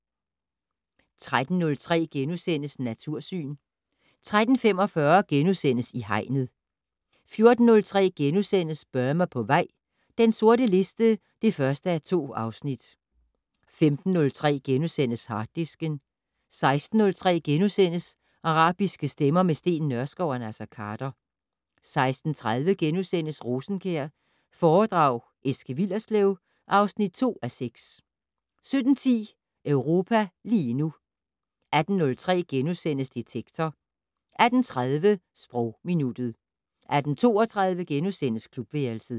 13:03: Natursyn * 13:45: I Hegnet * 14:03: Burma på vej - den sorte liste (1:2)* 15:03: Harddisken * 16:03: Arabiske stemmer - med Steen Nørskov og Naser Khader * 16:30: Rosenkjær foredrag Eske Willerslev (2:6)* 17:10: Europa lige nu 18:03: Detektor * 18:30: Sprogminuttet 18:32: Klubværelset *